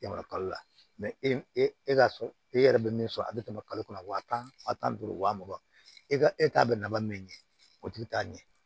E ma kalo la e ka so e yɛrɛ bɛ min sɔrɔ a bi tɛmɛ kalo kɔnɔ wa tan duuru wa mugan e ka e t'a bɛ nafa min ɲɛ o tigi t'a ɲɛ